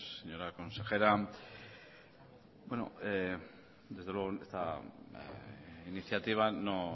señora consejera bueno desde luego esta iniciativa no